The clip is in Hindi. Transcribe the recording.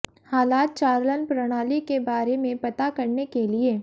हालात चालन प्रणाली के बारे में पता करने के लिए